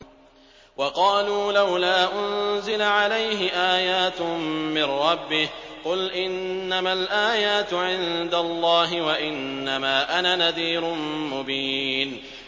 وَقَالُوا لَوْلَا أُنزِلَ عَلَيْهِ آيَاتٌ مِّن رَّبِّهِ ۖ قُلْ إِنَّمَا الْآيَاتُ عِندَ اللَّهِ وَإِنَّمَا أَنَا نَذِيرٌ مُّبِينٌ